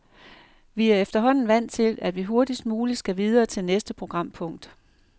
Vi er efterhånden vant til, at vi hurtigst muligt skal videre til næste programpunkt.